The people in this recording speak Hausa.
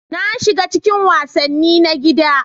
Na shiga cikin wasanni na gida.